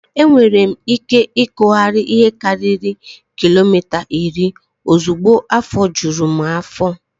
Enwere m ike ịkụgharị ihe karịrị kilomita iri ozugbo afọ juru m afọ.